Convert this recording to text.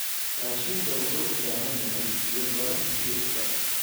Raashinka wuxuu u baahan yahay biyo badan si uu u koro.